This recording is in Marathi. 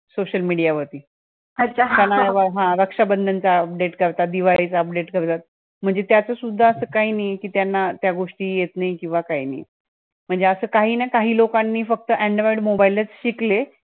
social media वरती , हा हा, रक्षाबंधनच update करतात दिवाळीच update करतात, म्हणजे त्याच सुद्धा असा काही नाहीये कि त्यांना त्या गोष्टी येत नाही किव्हा काही नाही. म्हणजे अस काहीइन ना काहीइन लोकांनी फक्त android mobile लच शिकले